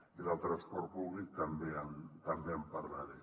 i del transport públic també en parlaré